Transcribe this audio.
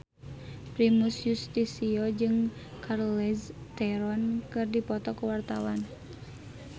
Primus Yustisio jeung Charlize Theron keur dipoto ku wartawan